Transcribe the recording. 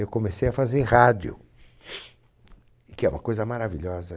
Eu comecei a fazer rádio, que é uma coisa maravilhosa.